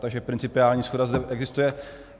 Takže principiální shoda zde existuje.